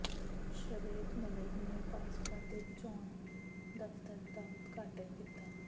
ਸ਼ਵੇਤ ਮਲਿਕ ਨੇ ਭਾਜਪਾ ਦੇ ਚੋਣ ਦਫ਼ਤਰ ਦਾ ਉਦਘਾਟਨ ਕੀਤਾ